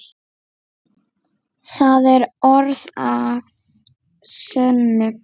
Það er orð að sönnu.